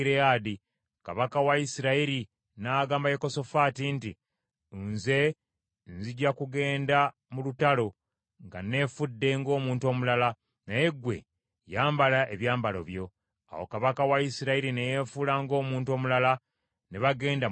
Kabaka wa Isirayiri n’agamba Yekosafaati nti, “Nze nzija kugenda mu lutalo nga nneefudde ng’omuntu omulala, naye ggwe yambala ebyambalo byo.” Awo kabaka wa Isirayiri ne yeefuula ng’omuntu omulala, ne bagenda mu lutalo.